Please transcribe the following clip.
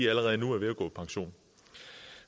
allerede nu er ved at gå på pension